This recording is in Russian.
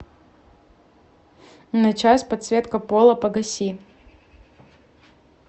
на час подсветка пола погаси